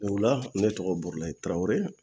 Ola ne tɔgɔ burulahi tarawele